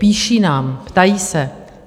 Píší nám, ptají se.